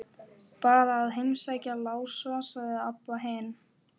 Bara að heimsækja Lása, sagði Abba hin.